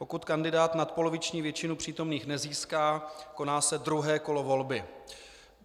Pokud kandidát nadpoloviční většinu přítomných nezíská, koná se druhé kolo volby.